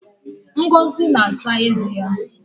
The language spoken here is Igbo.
Ngozi na-asa eze ya